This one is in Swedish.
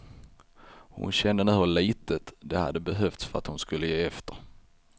Hon kände nu hur litet det hade behövts för att hon skulle ge efter.